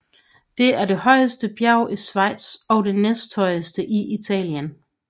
Det er det højeste bjerg i Schweiz og det næsthøjeste i Italien